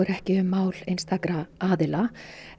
ekki um mál einstakra aðila